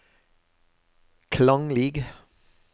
klanglig